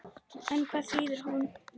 En hvað þýðir hún?